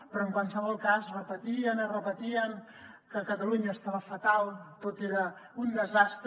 però en qualsevol cas repetien i repetien que catalunya estava fatal tot era un desastre